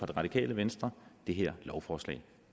det radikale venstre det her lovforslag